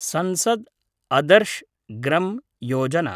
संसद् अदर्श् ग्रं योजना